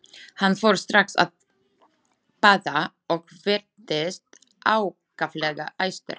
Hann fór strax að pata og virtist ákaflega æstur.